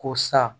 Ko sa